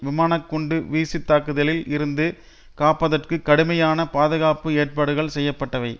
விமானக்குண்டு வீச்சுத்தாக்குதலில் இருந்து காப்பதற்கு கடுமையான பாதுகாப்பு ஏற்பாடுகள் செய்ய பட்டவை